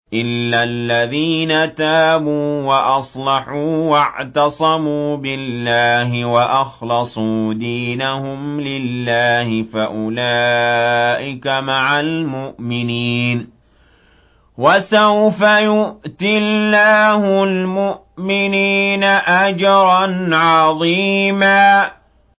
إِلَّا الَّذِينَ تَابُوا وَأَصْلَحُوا وَاعْتَصَمُوا بِاللَّهِ وَأَخْلَصُوا دِينَهُمْ لِلَّهِ فَأُولَٰئِكَ مَعَ الْمُؤْمِنِينَ ۖ وَسَوْفَ يُؤْتِ اللَّهُ الْمُؤْمِنِينَ أَجْرًا عَظِيمًا